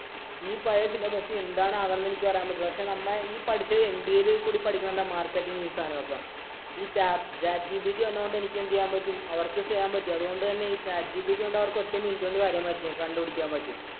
ഈ പഴയ syllabus ഇല്‍ എന്താണ് ആകുവാന്നു എനിക്ക് പറയാന്‍ പറ്റില്ല. പക്ഷേ നമ്മ ഈ പഠിച്ച MBA യില്‍ കൂടി പഠിക്കുന്നത് എന്താ marketing ഉം ഈ സാധനമൊക്കെ. ഈ tap chat gpt വന്നത് കൊണ്ട് എന്തു ചെയ്യാന്‍ പറ്റും. അവര്‍ക്ക് ചെയ്യാന്‍ പറ്റും. ഈ chat gpt കൊണ്ട് അവര്‍ക്ക് ഒറ്റ minute കൊണ്ട് അറിയാന്‍ പറ്റും. കണ്ടുപിടിക്കാന്‍ പറ്റും.